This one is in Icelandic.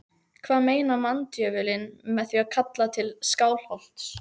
Hvað meinar manndjöfulinn með því að kalla til Skálholts?